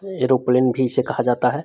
Aeroplane भी इसे कहा जाता है।